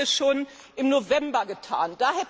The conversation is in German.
Das haben wir schon im November getan.